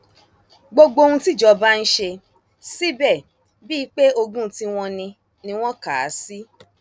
gbogbo ohun tíjọba ń ṣe síbẹ bíi pé ogún tiwọn ni ni wọn kà á sí